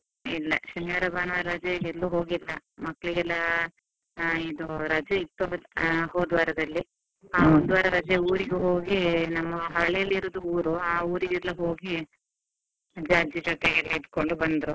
ಇಲ್ಲ, ಶನಿವಾರ ಭಾನುವಾರ ರಜೆಗೆ ಎಲ್ಲೂ ಹೋಗಿಲ್ಲ, ಮಕ್ಕಳಿಗೆಲ್ಲ ಆ ಇದು ರಜೆ ಇತ್ತು, ಆ ಹೋದ್ ವಾರದಲ್ಲಿ ವಾರ ರಜೆ ಊರಿಗೆ ಹೋಗಿ ನಮ್ಮ ಹಳ್ಳಿಯಲ್ಲಿ ಇರುವುದು ಊರು ಆ ಊರಿಗೆಲ್ಲ ಹೋಗಿ, ಅಜ್ಜ ಅಜ್ಜಿ ಜೊತೆಯೆಲ್ಲ ಇದ್ಕೊಂಡು ಬಂದ್ರು.